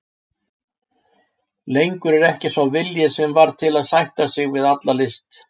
Lengur er ekki sá vilji sem var til að sætta sig við alla list.